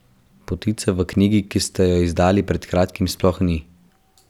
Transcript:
Potice v knjigi, ki ste jo izdali pred kratkim, sploh ni.